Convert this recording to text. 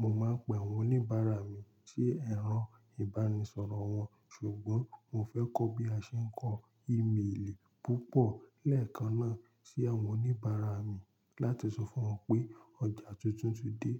mo máa ń pe àwọn oníbàárà mi sí ẹro ìbánisọ̀rọ̀ wọn, ṣùgbọ́n mo fẹ́ kọ́ bí a ṣe ń kọ emailì púpọ̀ lẹ́ẹ̀kan náà sí àwọn oníbàárà mi láti sọ fún wọn pé ọjà tuntun ti dé.